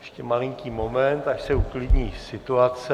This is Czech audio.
Ještě malinký moment, až se uklidní situace.